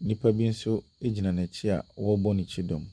Nnipa bi nso gyina n’akyi a wcrebɔ n’akyi dɔm.